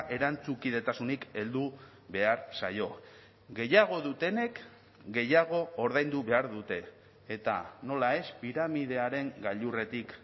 erantzukidetasunik heldu behar zaio gehiago dutenek gehiago ordaindu behar dute eta nola ez piramidearen gailurretik